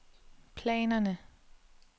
planerne